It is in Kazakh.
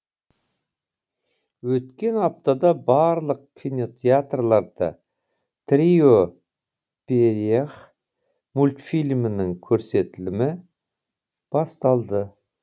өткен аптада барлық кинотеатрларда трио в перьях мультфильмінің көрсетілімі басталды